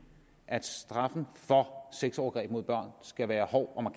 at straffen for sexovergreb mod børn skal være hård og